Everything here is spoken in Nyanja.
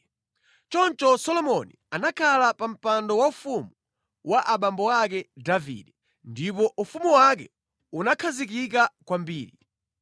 Choncho Solomoni anakhala pa mpando waufumu wa abambo ake Davide, ndipo ufumu wake unakhazikika kwambiri.